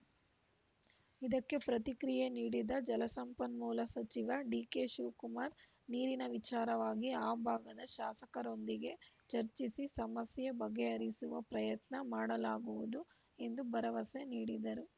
ಇದಕ್ಕೆ ಪ್ರತಿಕ್ರಿಯೆ ನೀಡಿದ ಜಲಸಂಪನ್ಮೂಲ ಸಚಿವ ಡಿಕೆಶಿವಕುಮಾರ್‌ ನೀರಿನ ವಿಚಾರವಾಗಿ ಆ ಭಾಗದ ಶಾಸಕರೊಂದಿಗೆ ಚರ್ಚಿಸಿ ಸಮಸ್ಯೆ ಬಗೆಹರಿಸುವ ಪ್ರಯತ್ನ ಮಾಡಲಾಗುವುದು ಎಂದು ಭರವಸೆ ನೀಡಿದರು